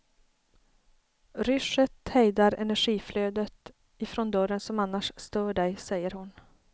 Ryschet hejdar energiflödet ifrån dörren som annars stör dig, säger hon.